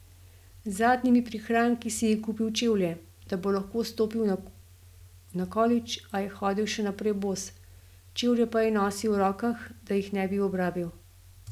Z zadnjimi prihranki si je kupil čevlje, da bo lahko vstopil na kolidž, a je hodil še naprej bos, čevlje pa je nosil v rokah, da jih ne bi obrabil.